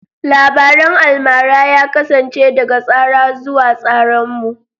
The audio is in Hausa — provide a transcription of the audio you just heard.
Labarin almara ya kasance daga tsara zuwa tsaranmu.